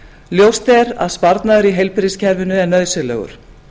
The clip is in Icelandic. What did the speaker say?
ljóst er að sparnaður í heilbrigðiskerfinu er nauðsynlegur